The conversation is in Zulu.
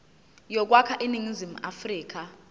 yokwakha iningizimu afrika